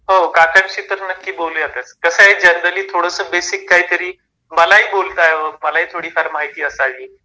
हो काकांशी तर नक्की बोलूयातच. कसा आहे जनरली थोडस बेसिक काही तरी मलाही बोलता मलाही थोडीफार माहिती असावी